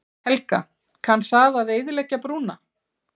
Helga: Kann það að eyðileggja brúna?